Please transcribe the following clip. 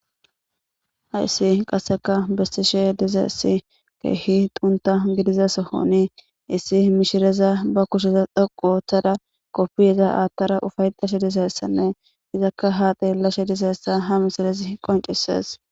Hassi qaaseka bessishe diizayssi kehi xuuntha giddiza sohon issi mishshireza be kushsheza dhoqqu oththada koppiyaza aathada uffaetashe dizayssanne izzaka ha xeelashe diizayssa ha missilezi qonccises.